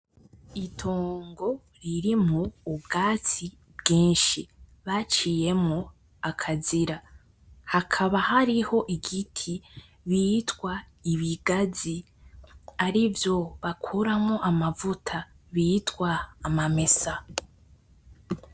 Itongo ririmwo ubwatsi bwishi baciyemwo akazira hakaba hariho igiti bitwa ibigazi arivyo bakuramwo amavuta bitwa amamesa.